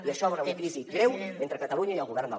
i això obre una crisi greu entre catalunya i el govern del